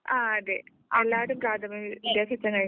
ആ അതേ എല്ലാവരും പ്രാഥമികവിദ്യാഭ്യാസം കഴിഞ്ഞവരാ